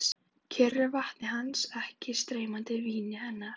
Kyrru vatni hans, ekki streymandi víni hennar.